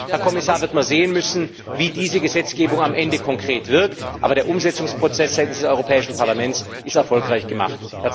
Insofern, Herr Kommissar, wird man sehen müssen, wie diese Gesetzgebung am Ende konkret wirkt, aber der Umsetzungsprozess seitens des Europäischen Parlaments ist erfolgreich gemacht.